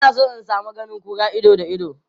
Ina son in sami ganin kura ido da ido.